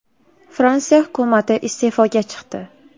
Fransiya hukumati iste’foga chiqdi.